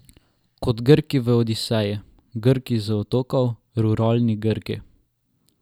Kot Grki v Odiseji, Grki z otokov, ruralni Grki.